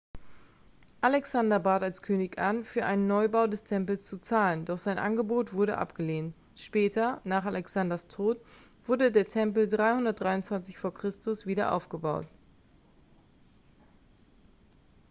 alexander bat als könig an für einen neubau des tempels zu zahlen doch sein angebot wurde abgelehnt später nach alexanders tod wurde der tempel 323 v. chr. wieder aufgebaut